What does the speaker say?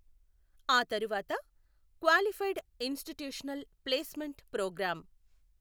ఆ తరువాత qualified institutional placement programme.